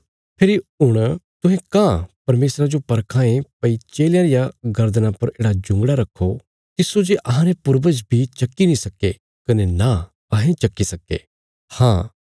फेरी हुण तुहें काँह परमेशरा जो परखां ये भई चेलयां रिया गर्दना पर येढ़ा जुंगड़ा रखो तिस्सो जे अहांरे पूर्वज बी चक्की नीं सक्के कने नां अहें चक्की सक्कां ये